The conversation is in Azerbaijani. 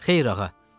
Xeyr, ağa.